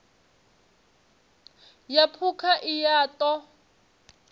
ya phukha i a ṱo